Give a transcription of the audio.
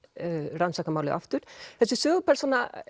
rannsaka málið aftur þessi sögupersóna